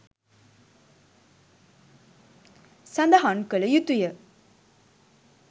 සඳහන් කළ යුතුය.